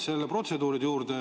Tulen nüüd protseduuride juurde.